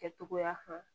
Kɛtogoya kan